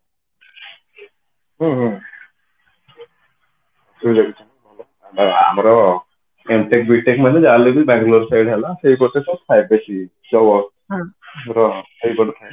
ହୁଁ ହୁଁ exactly ଭଲ ଥାନ୍ତା ଆମର MTECH BTECH ମାନେ ଯାହା ହେଲେବି Bangalore ସାଇଡ ହେଲା ସେଇ ଗୋଟେ ତ ଥାଏ ବେଶୀ job ଫବ ଆମର ସେଇପଟେ ଥାଏ